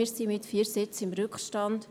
Wir sind mit vier Sitzen im Rückstand.